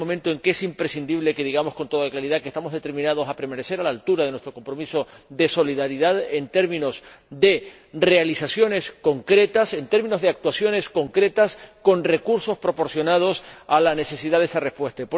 Este es el momento en que es imprescindible que digamos con toda claridad que estamos determinados a permanecer a la altura de nuestro compromiso de solidaridad en términos de realizaciones concretas, en términos de actuaciones concretas, con recursos proporcionados a la necesidad de esa respuesta.